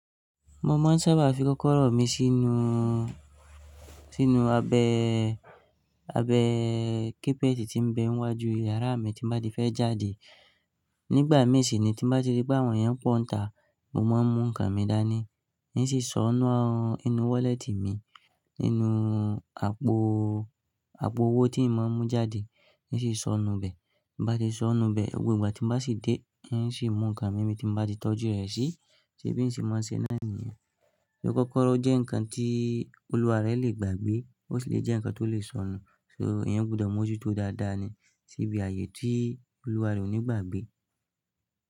Mo máa ń sábà fi kọ́kọ́rọ́ mi sínú, sínú abẹ, abẹ kepẹ́tì tí ń bẹ wájú iyàrá mi tí n bá ti fẹ́ jáde. Nígbà mi siní tí nbá ti rí pé àwọn èèyàn pọ̀ nta, mo máa ń mú nǹkan mi dání, n ó sì sọ ń ọ inú wọ́lẹ́tì mi, nínú àpò, àpò owó tí ìmọ̀ mú jáde, n ó sì sọnù bẹ. Bá ti sọnù bẹ, gbogbo ìgbà tí nbá sì dé, un sì mú nǹkan mi ni bi tí ń bá ti tọ́jú rẹ̀ sí. Ṣé bí ń ṣe máa ń ṣe náà níyẹn. Kọ́kọ́rọ́ jẹ́ nǹkan tí olúwa rẹ lè gbàgbé? Ó sì lè jẹ́ nǹkan tó lè sọnù. So eeyan gbọdọ̀ mú ojú tó dáadáa ni síbi ààyè tí olúwa rẹ ò ní gbàgbé.